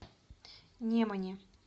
немане